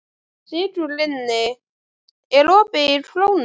Sigurlinni, er opið í Krónunni?